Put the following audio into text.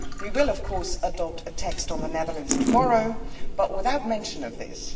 We will of course adopt a text on the Netherlands tomorrow, but without mention of this.